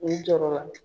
U jɔra